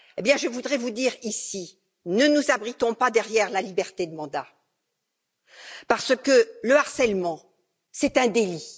Je voudrais vous dire ici ne nous abritons pas derrière la liberté de mandat parce que le harcèlement est un délit.